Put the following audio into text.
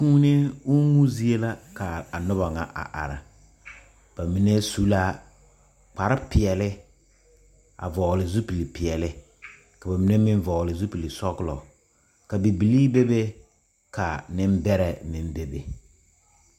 Kūūni uumu zie la ka a noba ŋa are are ba mine su la kpare peɛle kyɛ vogli a zupili peɛle ka ba mine meŋ vogli zupili sɔglɔ ka bibilii bebe ka nembɛrɛ meŋ bebe.